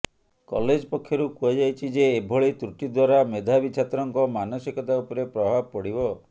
college ପକ୍ଷରୁ କୁହାଯାଇଛି ଯେ ଏଭଳି ତ୍ରୁଟି ଦ୍ୱାରା ମେଧାବୀ ଛାତ୍ରଙ୍କ ମାନସିକତା ଉପରେ ପ୍ରଭାବ ପଡ଼ିବ